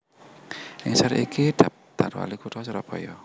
Ing ngisor iki daptar WaliKutha Surabaya